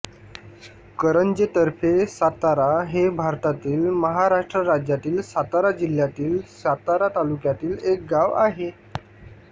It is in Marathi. करंजे तर्फे सातारा हे भारतातील महाराष्ट्र राज्यातील सातारा जिल्ह्यातील सातारा तालुक्यातील एक गाव आहे